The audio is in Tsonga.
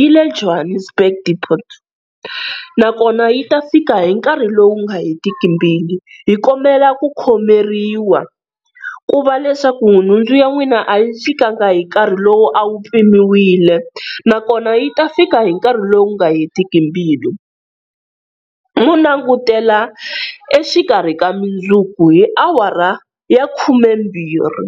yile Johannesburg deport na kona yi ta fika hi nkarhi lowu nga hetiki mbilu. Hi kombela ku khomeriwa ku va leswaku nhundzu ya n'wina a yi fikanga hi nkarhi lowu a wu mpimiwile na kona yi ta fika hi nkarhi lowu nga hetiki mbilu, mo langutela exikarhi ka mundzuku hi awara ya khumembirhi.